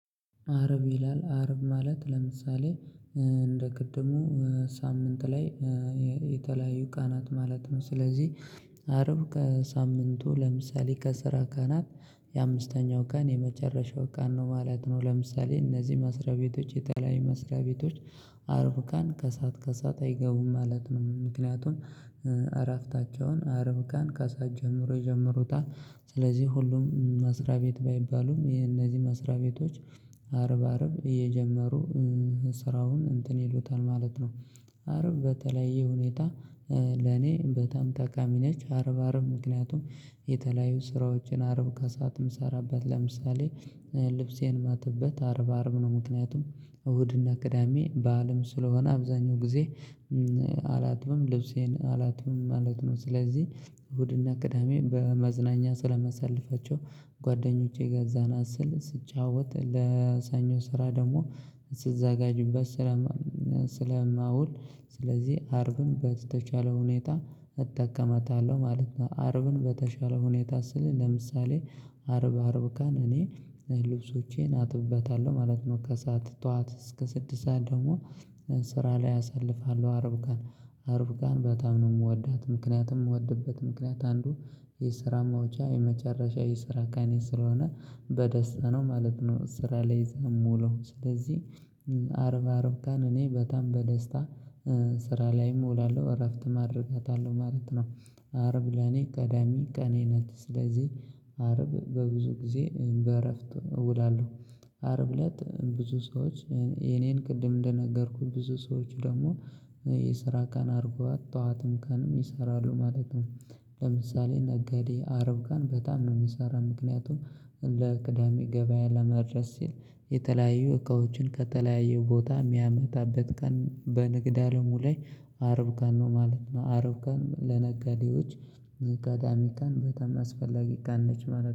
አርብ ይላል አርብ ማለት ለምሳሌ እንደ ቅድሙ ሳምንት ላይ የተለያዩ ቃናት ማለት ነው። ስለዚህ አሰርብ ከሳምንቱ ለምሳሌ ከስራ ቃናት የአምስተኛው ቃን የመጨረሻው ቃን ነው ማለት ነው። ለምሳሌ እነዚህ መስሪያ ቤቶች የተለያየ መስሪያ ቤቶች አርበፍ ካን ከሰአት ከሰአት አይገቡም ማለት ነው። ምክንያቱም እራፍታቸውን አረብ ካን ከሰአት ጀምሮ የጀመሩታል። ስለዚህ ሁሉም መስሪያ ቤት ባይባሉም የነዚህ መስሪያ ቤቶች አርብ አርብ እየጀመሩ ስራውን እንትን ይሉታል ማለት ነው። አርብ በተለያየ ሁኔታ ለኔ በጣም ጠቃሚ ነች። አርብ አርብ ምክንያቱም የተለያዩ ስራዎችን አርብ ከሰአት የምሰራበት ለምሳሌ ልብሴን ማጥበት አርባ አርብ ነው። ምክንያቱም እሁድና ቅዳሜ በዓልም ስለሆነ አብዛኛው ጊዜ አላጥብም ልብሴን አላጥብም ማለት ነው። ስለዚህ እሁድና ቅዳሜ በመዝናኛ ስለመሳልፋቸው ጓደኞቼ ጋር ዘና ስል ስትጫወት ለሰኞ ስራ ደግሞ ስትዘጋጅበት ስለማውል ስለዚህ አርብም በተቻለ ሁኔታ እጠቀመታለሁ ማለት ነው። አርብን በተቻለ ሁኔታ ስል ለምሳሌ አርብ አርብ ቀን እኔ ልብሶቼን አጥብበታለሁ ማለት ነው። ከሰአት ጠዋት እስከ ስድስት ሰዓት ደግሞ ስራ ላይ አሳልፋለሁ። አርብ ቀን አርብ ቀን በጣም ነው የምወዳት ምክንያቱም የምወድበት ምክንያት አንዱ የስራ ማውጫ የመጨረሻ የስራ ቀኔ ስለሆነ በደስታ ነው ማለት ነው። ስራ ላይ እዛ የምውለው ስለዚህ አርብ አርብ ቀን እኔ በጣም በደስታ ስራ ላይ እውላለሁ። እረፍት ማድረግ አለብኝ ማለት ነው። አርብ ለኔ ቀዳሚ ቀኔ ናት። ስለዚህ አርብ በብዙ ጊዜ በእረፍት እውላለሁ። አርብ እለት ብዙ ሰዎች የኔን ቅድም እንደነገርኩት ብዙ ሰዎች ደግሞ የስራ ቀን አድርጓት ጠዋትም ቀንም ይሰራሉ ማለት ነው። ለምሳሌ ነጋዴ አርብ ቀን በጣም ነው የሚሰራ ምክንያቱም ለቅዳሜ ገበያ ለመድረስ ሲል የተለያዩ እቃዎችን ከተለያዩ ቦታ የሚያመጣበት ቀን በንግድ አለሙ ላይ አርብ ቀን ነው ማለት ነው። አርብ ለነጋዴዎች ቅዳሜ ቀን በጣም አስፈላጊ ቀን ነች ማለት ነው